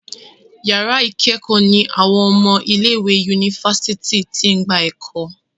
yàrá ikẹkọ ní àwọn ọmọ ilé ìwé Yunifásitìni t'in gbà eko.